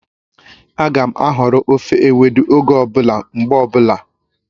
Ága m ahọrọ ofe ewedu oge ọ bụla, mgbe ọbụla